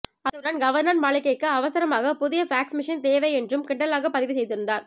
அத்துடன் கவர்னர் மாளிகைக்கு அவசரமாக புதிய ஃபேக்ஸ் மெஷின் தேவை என்றும் கிண்டலாகப் பதிவு செய்திருந்தார்